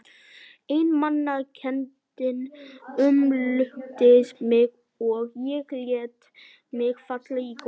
Einmanakenndin umlukti mig og ég lét mig falla í gólfið.